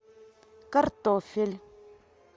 картофель